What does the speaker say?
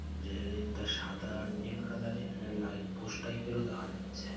Railing -টা সাদা আর নীল কালার -এর এখানে লাইট পোস্ট টাইপ -এর ও দেখা যাচ্ছে-এ ।